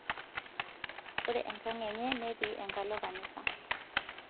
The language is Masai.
ore enkang enye netii enkalo kanisa